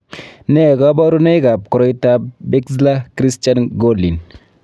Nee kabarunoikab koriotoab Bixler Christian Gorlin?